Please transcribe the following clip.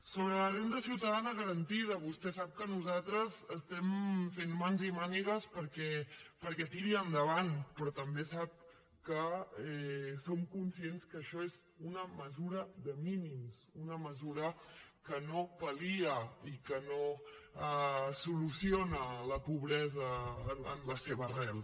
sobre la renda ciutadana garantida vostè sap que nosaltres estem fent mans i mànigues perquè tiri endavant però també sap que som conscients que això és una mesura de mínims una mesura que no pal·lia i que no soluciona la pobresa en la seva arrel